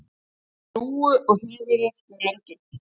Fékk lúgu á höfuðið við löndun